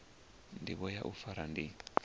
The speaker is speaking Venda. ndivho ya u fara ndi